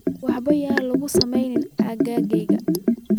waxyaabaha lagu sameeyo aaggayga